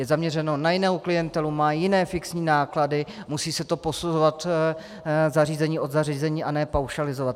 Je zaměřeno na jinou klientelu, má jiné fixní náklady, musí se to posuzovat zařízení od zařízení a ne paušalizovat.